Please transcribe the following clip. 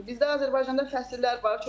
Bizdə Azərbaycanda fəsillər var.